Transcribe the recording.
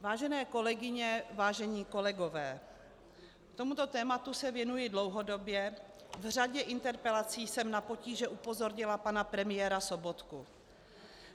Vážené kolegyně, vážení kolegové, tomuto tématu se věnuji dlouhodobě, v řadě interpelací jsem na potíže upozornila pana premiéra Sobotku.